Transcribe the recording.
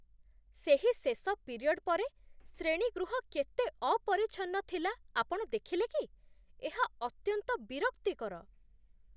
ସେହି ଶେଷ ପିରିୟଡ୍ ପରେ ଶ୍ରେଣୀଗୃହ କେତେ ଅପରିଚ୍ଛନ୍ନ ଥିଲା, ଆପଣ ଦେଖିଲେ କି? ଏହା ଅତ୍ୟନ୍ତ ବିରକ୍ତିକର।